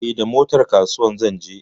Eh, da motar kasuwa zan je.